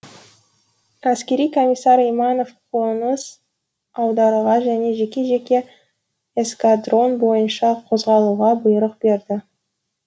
әскери комиссар иманов қоныс аударуға және жеке жеке эскадрон бойынша қозғалуға бұйрық берді